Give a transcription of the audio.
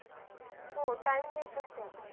हो time देतात ना.